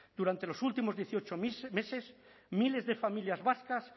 durante los últimos dieciocho meses miles de familias vascas